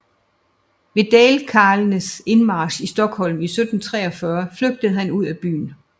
Ved dalkarlenes indmarch i Stockholm 1743 flygtede han ud af byen